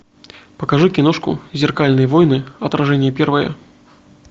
покажи киношку зеркальные войны отражение первое